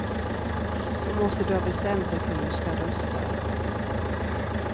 Då måste du ha bestämt dig för hur du ska rösta.